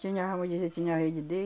Tinha, vamos dizer, tinha a rede